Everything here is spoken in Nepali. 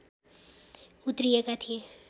उत्रिएका थिए